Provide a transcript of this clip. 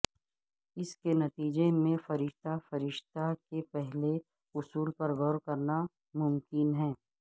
اس کے نتیجے میں فرشتہ فرشتہ کے پہلے اصول پر غور کرنا ممکن ہے